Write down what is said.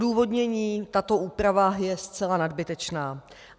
Odůvodnění: Tato úprava je zcela nadbytečná.